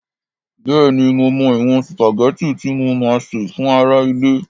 Bẹ́ẹ̀ni, mo mọ ìwọ̀n sùpàgẹ́tì tí mo máa sè fún ará ilé